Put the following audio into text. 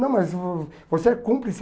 Não, mas vo você é cúmplice.